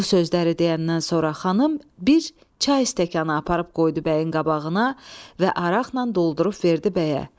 Bu sözləri deyəndən sonra xanım bir çay stəkanı aparıb qoydu bəyin qabağına və araqla doldurub verdi bəyə.